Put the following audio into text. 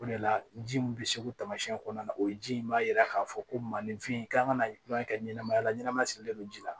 O de la ji min bɛ segu tamasiɲɛ kɔnɔna na o ye ji in b'a yira k'a fɔ ko malifin kan ka kura in kɛ ɲɛnamaya la ɲɛnama silen don ji la